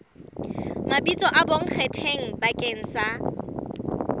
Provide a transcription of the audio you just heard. mabitso a bonkgetheng bakeng sa